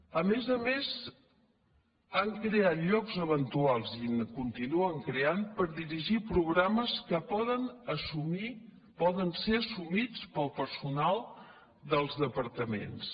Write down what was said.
a més a més han creat llocs eventuals i en continuen creant per dirigir programes que poden assumir poder ser as sumits pel personal dels departaments